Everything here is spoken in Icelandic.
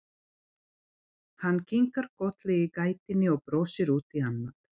Hann kinkar kolli í gættinni og brosir út í annað.